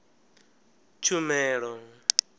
tshumelo